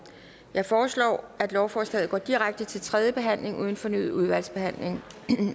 jeg foreslår at lovforslaget går direkte til tredje behandling uden fornyet udvalgsbehandling